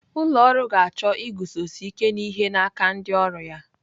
Ụlọ ọrụ ga-achọ iguzosi ike n'ihe n'aka ndị ọrụ ya.